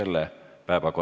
Kohtume homme!